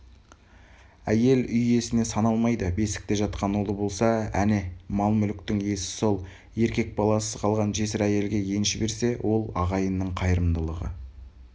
әйел үй иесіне саналмайды бесікте жатқан ұлы болса әне мал-мүліктің иесі сол еркек баласыз қалған жесір әйелге енші берсе ол ағайынның қайырымдылығы